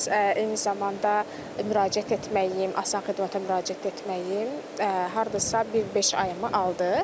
Eyni zamanda müraciət etməyim, Asan xidmətə müraciət etməyim hardasa bir beş ayımı aldı.